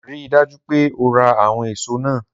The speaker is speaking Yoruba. Rii daju pe o ra awọn eso naa!